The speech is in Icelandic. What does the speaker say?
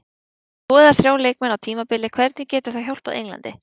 Ef þú missir tvo eða þrjá leikmenn á tímabili hvernig getur það hjálpað Englandi?